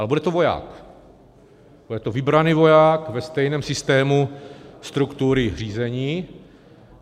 Ale to bude voják, bude to vybraný voják ve stejném systému struktury řízení.